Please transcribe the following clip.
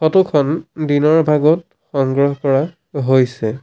Photo খন দিনৰ ভাগত সংগ্ৰহ কৰা হৈছে।